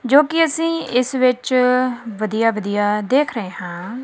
ਜੋਕੀ ਅੱਸੀਂ ਇੱਸ ਵਿੱਚ ਵਧੀਆ ਵਧੀਆ ਦੇਖ ਰਹੇ ਹਾਂ।